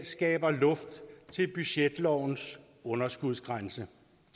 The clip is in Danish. skaber luft til budgetlovens underskudsgrænse